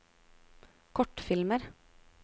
kortfilmer